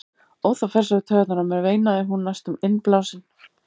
Ó, það fer svo í taugarnar á mér, veinaði hún næstum innblásin.